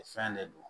Fɛn de don